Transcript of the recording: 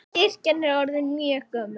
Kirkjan er orðin mjög gömul.